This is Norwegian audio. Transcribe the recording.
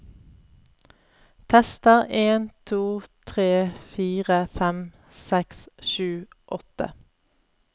Tester en to tre fire fem seks sju åtte